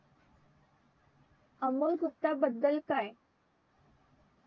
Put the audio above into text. अमोल गुप्ता बद्दल काय